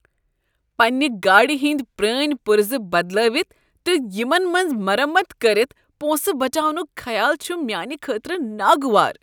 پننِہ گاڑِ ہٕندۍ پرٲنۍ پرزٕ بدلٲوتھ تہٕ یمن ہنٛز مرمت کٔرتھ پونٛسہٕ بچاونک خیال چھ میانہ خٲطرٕ ناگوار۔